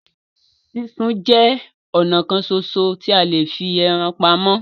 Súnsun jẹ ọnà kan ṣoṣo tí a lè fi ẹran pamọ́.